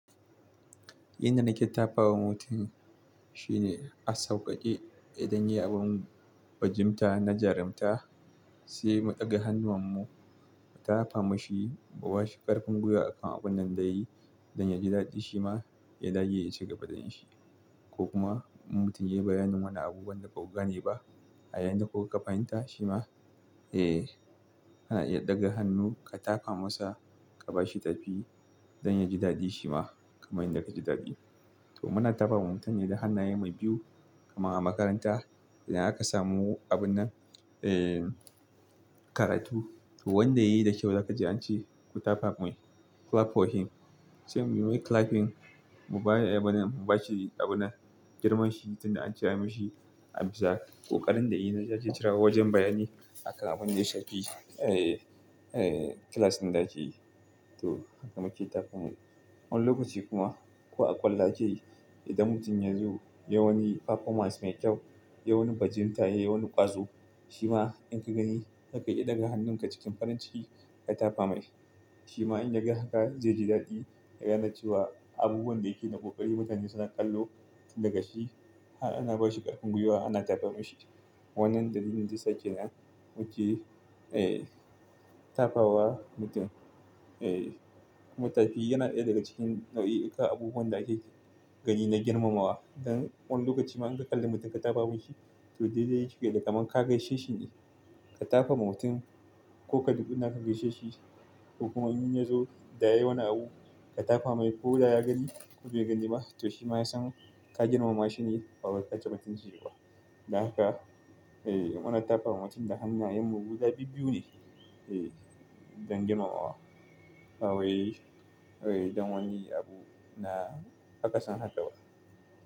Inda na ke tafa wa mutum shine a sauƙaƙe idan ya yi abun bajinta na jarumta, sai mu ɗaga hannu wan mu tafa ma shi, mu ba shi ƙarfin gwiwa akan abun nan da yayi don ya ji daɗi shi ma ya dage ya cigaba da yi. Ko kuma mutum ya yi bayanin wanan abubuwan da baku gane ba, a yayinda ko ka fahimta shi ma, eh ana iya ɗaga hannu ka tafa masa, ka ba shi tafi don ya ji daɗi shi ma kamar yadda ka ji daɗi. To muna tafa wa mutane da hannaye mu biyu kamar a makaranta idan aka samu abun nan, ee karatun. To wanda yayi da kyau zaka ji an ce ku tafa mai clap for him. Sai muyi clapping, mu bani abuna, mu ba shi abunnan, girman shi tun da an cewa mishi abu zaƙi. Ko ƙarin da yayi na za ci cirewa wajen bayani akan abun da ya saki ee, ee class ɗin da yake yi. To haka muke tafamar. Wani lokaci kuma ko a kwallage idan mutum ya zo yayi wani performance mai kyau, yayi wani bajinta, yayi wani ƙwazo, shi ma in ka gani zaka yi ɗaga hannun ka cikin farin ciki ka tafa mai. Shi ma in ya ga haka zai ji daɗi, ya ganeci wa abubuwan da yake na ƙoƙari mutane suna kallo daga shi. An ba shi ƙarfin gwiwa ana tafama shi. Wannan dalilin da ya sake nan muke ee tafawa mutum. Ee mutafi yana ɗaya daga cikin nau'i ka abubuwan da ake gani na girmamawa. Don wani lokaci ma in ka kalli mutum ka tafa masa shi, to dai dai yake fiye da kaman ka gaishe shi ne. Ka tafa ma mutum ko ka dubi na ka gaishe shi ko kuma in ya zo da yayi wani abu ka tafa mai ko da ya gani ko bai gani ba, to shi ma ya san ka girmama shi ne kawai ka ci rotin shi kuwa. Don haka ee muna tafa wa mutum da hannayen mu guda biyu-biyu ne ee don girmamawa. Bawai, ee don wani abu na aka san hadawa.